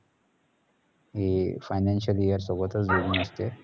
ही financial year सोबत जोडून येते